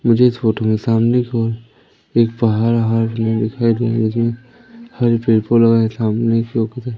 मुझे इस फोटो में सामने की ओर एक पहाड़ वहाड़ दिखाई दे रहा जिसमें हरे पेड़ पूड़ लगाए सामने